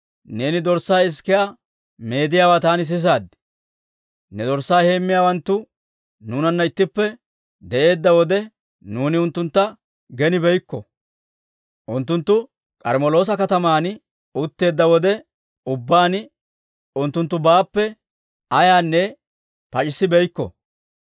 «Neeni dorssaa isikiyaa meediyaawaa taani sisaad; ne dorssaa heemmiyaawanttu nuunanna ittippe de'eedda wode, nuuni unttuntta genibeykko; unttunttu K'armmeloosa kataman utteedda wode ubbaan unttunttubaappe ayaynne pac'c'ibeenna.